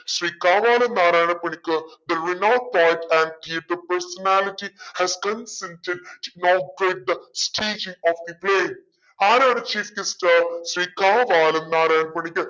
Shri Kavalam Narayana Panicker the renowned poet and the personality has consented to inaugurate the of the play ആരാണ് chief guest Shri Kavalam Narayana Panicker